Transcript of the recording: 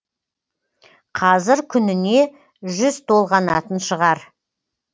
қазір күніне жүз толғанатын шығар